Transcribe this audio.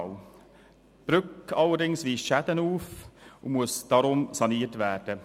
Die Brücke weist allerdings Schäden auf und muss darum saniert werden.